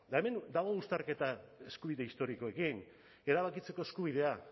eta hemen dago uztarketa eskubide historikoekin erabakitzeko eskubidea